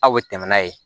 Aw bɛ tɛmɛ n'a ye